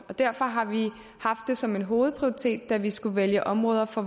derfor har vi haft det som en hovedprioritet da vi skulle vælge områder for